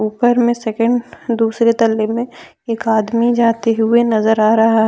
ऊपर में सेकंड दूसरे तल्ले में एक आदमी जाते हुए नजर आ रहा--